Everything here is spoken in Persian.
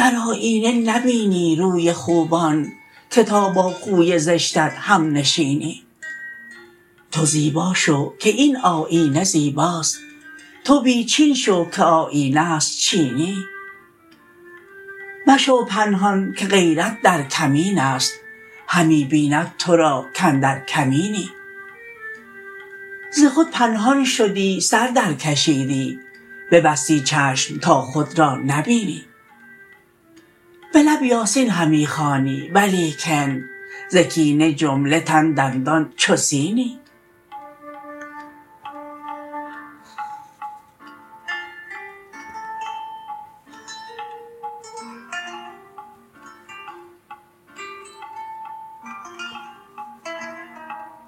در آیینه نبینی روی خوبان که تا با خوی زشتت همنشینی تو زیبا شو که این آیینه زیباست تو بی چین شو که آیینه است چینی مشو پنهان که غیرت در کمین است همی بیند تو را کاندر کمینی ز خود پنهان شدی سر درکشیدی ببستی چشم تا خود را نبینی به لب یاسین همی خوانی ولیکن ز کینه جمله تن دندان چو سینی